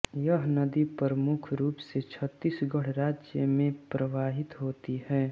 यह नदी प्रमुख रूप से छत्तीसगढ़ राज्य के में प्रवाहित होती है